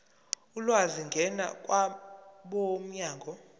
ulwazi ngena kwabomnyango